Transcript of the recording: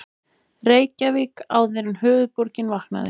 Reykjavík áður en höfuðborgin vaknaði.